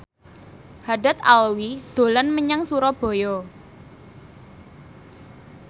Haddad Alwi dolan menyang Surabaya